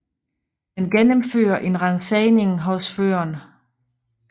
Man gennemfører en ransagning hos føreren